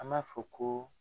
An m'a fɔ ko